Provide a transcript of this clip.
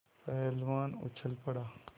पहलवान उछल पड़ा